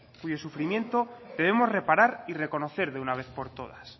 y de sufrimiento queremos reparar y reconocer de una vez por todas